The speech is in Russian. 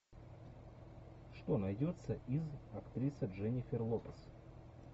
что найдется из актрисы дженнифер лопес